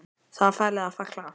Það var farið að falla að.